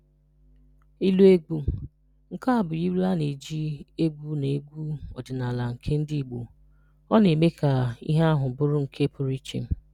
Ilu Egwu: Nke a bụ ilu a na-eji egwu na egwu ọdịnala nke ndị Igbo. Ọ na-eme ka íhé ahụ bụrụ nke pụrụ iche.